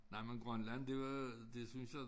Nej men Grønland det var det synes jeg